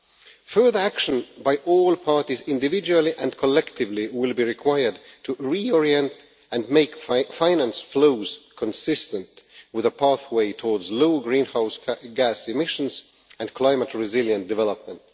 Further action by all parties, individually and collectively, will be required to reorient and make finance flows consistent with a pathway towards low greenhouse gas emissions and climate resilient development.